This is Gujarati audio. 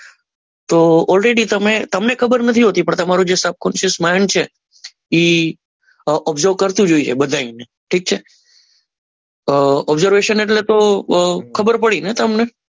તો ઓલરેડી તમે તમને ખબર નથી હોતી પણ તમારું જે સબ કોન્સ માઈન્ડ છે એ ઓબ્ઝર્વ કરતું જ હોય બધાયને ઠીક છે ઓબ્ઝર્વેશન એટલે તો ખબર પડી ને તમને